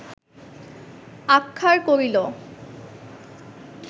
আহ্মার করিল